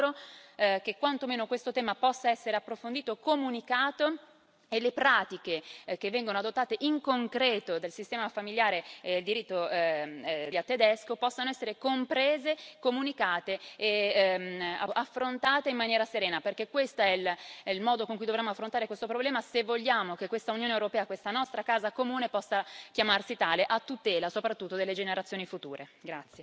Io mi auguro che quanto meno questo tema possa essere approfondito e comunicato e che le pratiche che vengono adottate in concreto dal sistema del diritto di famiglia tedesco possano essere comprese e comunicate e appunto affrontate in maniera serena, perché questo è il modo con cui dovremo affrontare questo problema se vogliamo che questa Unione europea, questa nostra casa comune, possa chiamarsi tale a tutela soprattutto delle generazioni future.